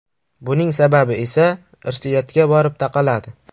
Buning sababi esa irsiyatga borib taqaladi.